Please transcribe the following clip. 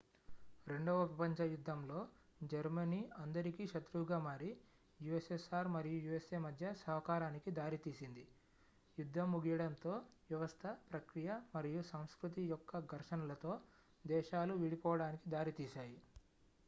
రెండవ ప్రపంచ యుద్ధంలో జర్మనీ అందరికీ శత్రువుగా మారి ussr మరియు usa మధ్య సహకారానికి దారితీసింది యుద్ధం ముగియడంతో వ్యవస్థ ప్రక్రియ మరియు సంస్కృతి యొక్క ఘర్షణలతో దేశాలు విడిపోవడానికి దారితీశాయి